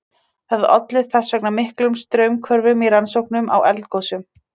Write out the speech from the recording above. Það olli þess vegna miklum straumhvörfum í rannsóknum á eldgosum.